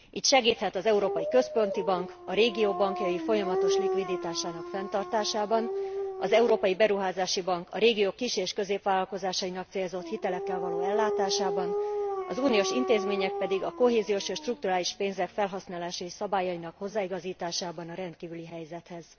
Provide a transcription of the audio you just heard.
Így segíthet az Európai Központi Bank a régió bankjai folyamatos likviditásának fenntartásában, az Európai Beruházási Bank a régiók kis és középvállalkozásainak célzott hitelekkel való ellátásában, az uniós intézmények pedig a kohéziós és strukturális pénzek felhasználási szabályainak hozzáigazításában a rendkívüli helyzethez.